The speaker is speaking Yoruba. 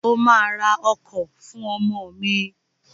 O ma ra ọkọ̀ fún ọmọ mi!